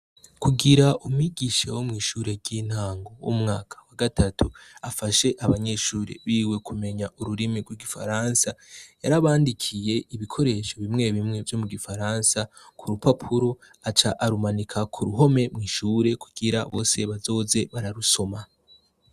Kugira umwigisha wo mw'ishure ry'intango wo mu mwaka wa gatatu afashe abanyeshure biwe kumenya ururimi rw'igifaransa, yarabandikiye ibikoresho bimwe bimwe vyo mu gifaransa ku rupapuro, aca arumanika ku ruhome mw'ishure kugira bose bazoze bararusoma.